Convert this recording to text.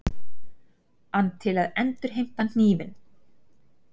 ann til að endurheimta hnífinn.